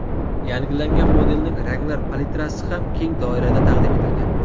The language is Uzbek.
Yangilangan modelning ranglar palitrasi ham keng doirada taqdim etilgan.